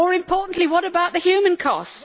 More importantly, what about the human cost?